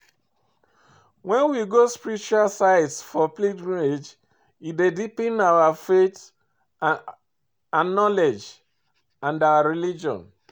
When we go spiritual sites for pilgrimage e dey deepen our faith and knowledge about our religion